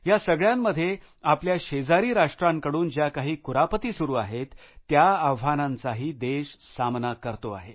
या सगळ्यामध्ये आपल्या शेजारी राष्ट्रांकडून ज्या काही कुरापती सुरु आहेत त्या आव्हानांचाही देश सामना करतो आहे